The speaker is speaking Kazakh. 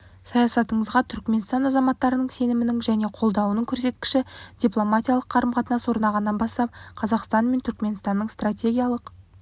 саясатыңызға түрікменстан азаматтарының сенімінің және қолдауының көрсеткіші дипломатиялық қарым-қатынас орнағаннан бастап қазақстан мен түрікменстанның стратегиялық